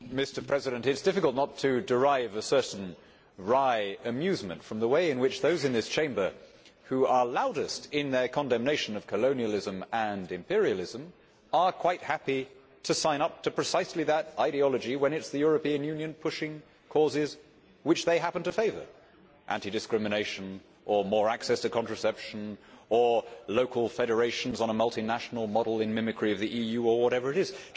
Mr President, it is difficult not to derive a certain wry amusement from the way in which those in this Chamber who are loudest in their condemnation of colonialism and imperialism are quite happy to sign up to precisely that ideology when it is the European Union pushing causes which they happen to favour anti discrimination or more access to contraception or local federations on a multinational model in mimicry of the EU or whatever it is.